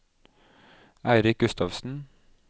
Eirik Gustavsen